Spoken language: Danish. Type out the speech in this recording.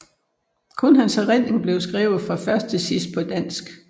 Kun hans erindringer blev skrevet fra først til sidst på dansk